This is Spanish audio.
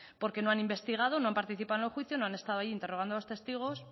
porque no han investigado no han participado en el juicio no han estado ahí interrogando a los testigos